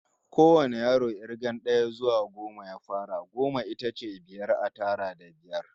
Kowane yaro k'irgar d'aya zuwa goma ya fara. Goma ita ce biyar a tara da biyar.